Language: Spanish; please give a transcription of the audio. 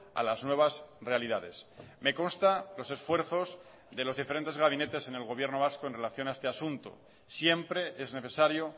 a las nuevas realidades me consta los esfuerzos de los diferentes gabinetes en el gobierno vasco en relación a este asunto siempre es necesario